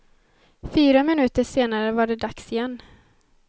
Fyra minuter senare var det dags igen.